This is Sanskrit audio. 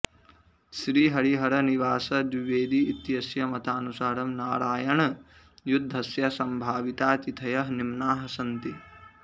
श्रीहरिहर निवास द्वीवेदी इत्यस्य मतानुसारं नरायनयुद्धस्य सम्भाविताः तिथयः निम्नाः सन्ति